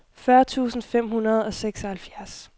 fyrre tusind fem hundrede og seksoghalvfjerds